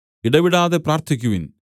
ഇടവിടാതെ പ്രാർത്ഥിക്കുവിൻ